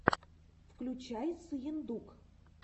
включай сыендук